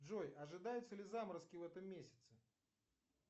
джой ожидаются ли заморозки в этом месяце